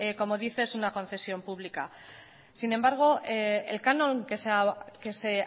como dice es una concesión pública sin embargo el canon que se